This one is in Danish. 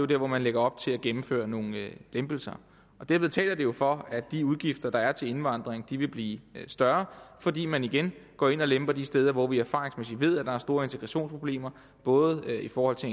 der hvor man lægger op til at gennemføre nogle lempelser derved taler det jo for at de udgifter der er til indvandring vil blive større fordi man igen går ind og lemper de steder hvor vi erfaringsmæssigt ved at der er store integrationsproblemer både i forhold til